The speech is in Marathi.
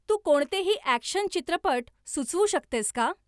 तू कोणतेही अॅक्शन चित्रपट सुचवू शकतेस का